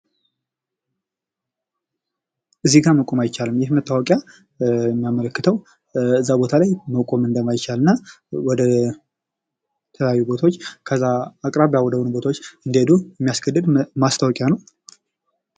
እዚህ ጋር መቆም አይቻልም። ይህ መታወቂያ የሚያመለክተው እዛ ቦታ ላይ መቆም እንደማይችል እና ወደ ተለያዩ ቦታዎች ከዛ አቅራቢያ ወደሆነ ቦታዎች እንዲሄዱ የሚያስገድድ ማስታወቂያ ነው።